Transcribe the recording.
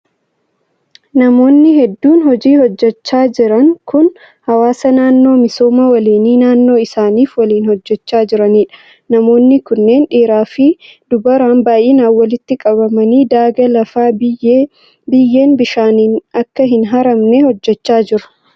Namoonni hedduun hojii hojjachaa jiran kun, hawaasa naannoo misooma waliinii naannoo isaanif waliin hojjachaa jiranii dha. Namoonni kunneen dhiiraa fi dubaraan baay'inaan walitti qabamanii daagaa lafaa biyyeen bishaaniin akka hin haramne hojjachaa jiru.